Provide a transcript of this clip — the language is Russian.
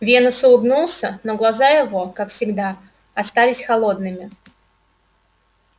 венус улыбнулся но глаза его как всегда остались холодными